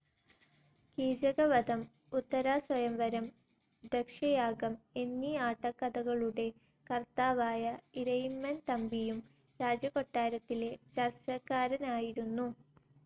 കീചകവധം, ഉത്തരാസ്വയംവരം, ദക്ഷയാഗം എന്നീ ആട്ടക്കഥകളുടെ കർത്താവായ ഇരയിമ്മൻ തമ്പിയും രാജകൊട്ടാരത്തിലെ ചർച്ചക്കാരനായിരുന്നു..